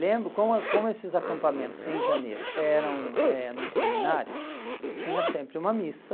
Lembro, como como esses acampamentos em janeiro eram eh num seminário, tinha sempre uma missa,